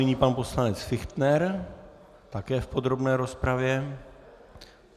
Nyní pan poslanec Fichtner také v podrobné rozpravě.